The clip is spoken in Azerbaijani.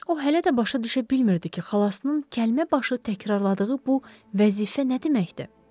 O hələ də başa düşə bilmirdi ki, xalasının kəlməbaşı təkrarladığı bu vəzifə nə deməkdir?